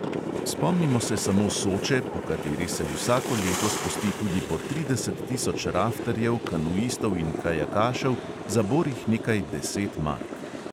Spomnimo se samo soče, po kateri se vsako leto spusti tudi po trideset tisoč raftarjev, kanuistov in kajakašev za borih nekaj deset mark.